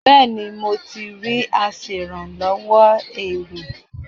Bẹ́́ẹ̀ni, mo ti rí aṣèrànlọ́wọ́ èrò.